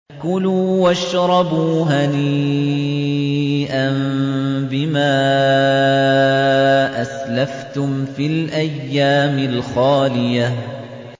كُلُوا وَاشْرَبُوا هَنِيئًا بِمَا أَسْلَفْتُمْ فِي الْأَيَّامِ الْخَالِيَةِ